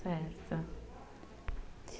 Certo.